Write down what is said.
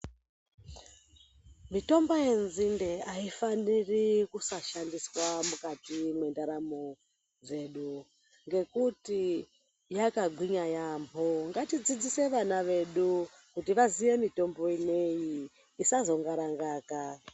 Mitombo yenzinde haifaniri kusashandiswa mukati mendaramo dzedu. Ngekuti yakagwinya yaamho ngatidzidzise vana vedu kuti vaziye mitombo ineyi isazongarangaka.